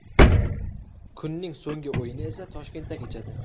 Kunning so‘nggi o‘yini esa Toshkentda kechadi.